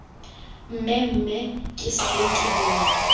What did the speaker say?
mmemme ke sale ke bona